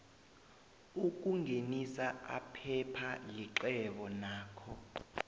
ukuthengisa aphepha lixhwebo nakho